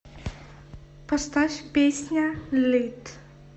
поставь песня лит